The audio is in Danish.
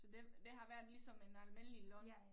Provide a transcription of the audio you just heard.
Så det det har været ligesom en almindelig løn